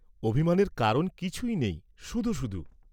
অভিমানের কারণ কিছুই নেই, শুধু শুধু।